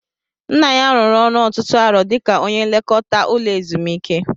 Nna ya rụrụ ọrụ ọtụtụ arọ dika ónyé nlekọta ụlọ ezumiike